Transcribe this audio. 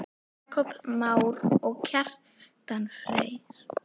Jakob Már og Kjartan Freyr.